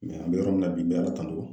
an bɛ yɔrɔ min na bi n bɛ ALA tanu.